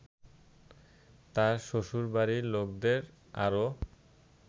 তাঁর শ্বশুরবাড়ির লোকদের আরও